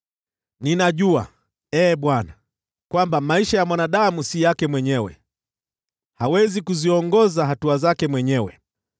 Ninajua, Ee Bwana , kwamba maisha ya mwanadamu si yake mwenyewe; hawezi kuziongoza hatua zake mwenyewe.